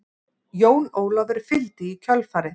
Jón Ólafur fylgdi í kjölfarið.